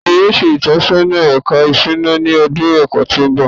Tani yoo ṣe itọsọna Ẹka Isuna ni ọdun ẹkọ ti n bọ?